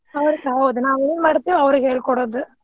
ಹೌದಪಾ ಹೌದ ನಾವ್ ಏನ್ ಮಾಡ್ತೇವಿ ಅವ್ರಿಗೆ ಹೇಳಿಕೊಡೋದು.